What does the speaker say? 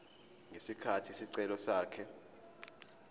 ngesikhathi isicelo sakhe